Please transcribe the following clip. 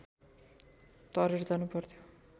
तरेर जानुपर्थ्यो